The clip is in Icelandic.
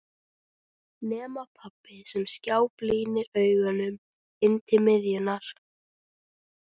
Nema pabbi sem skáblínir augunum inn til miðjunnar.